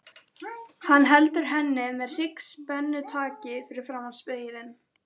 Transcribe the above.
Hann heldur henni með hryggspennutaki fyrir framan spegilinn.